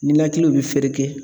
Ninakiliw be fereke